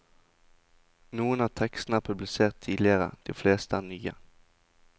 Noen av tekstene er publisert tidligere, de fleste er nye.